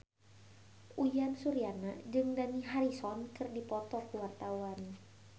Uyan Suryana jeung Dani Harrison keur dipoto ku wartawan